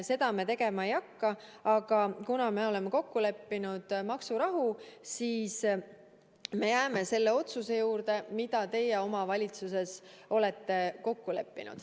Seda me tegema ei hakka, aga kuna me oleme kokku leppinud maksurahu, siis me jääme selle otsuse juurde, mille teie oma valitsuses kokku leppisite.